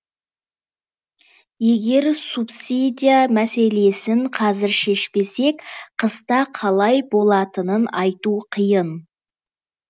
егер субсидия мәселесін қазір шешпесек қыста қалай болатынын айту қиын